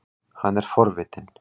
Hann er forvitinn.